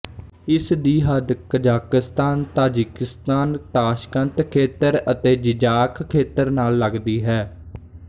ਇਸਦੀ ਹੱਦ Kazakhstan Tajikistan Tashkent ਖੇਤਰ ਅਤੇ ਜਿਜ਼ਾਖ ਖੇਤਰ ਨਾਲ ਲੱਗਦੀ ਹੈ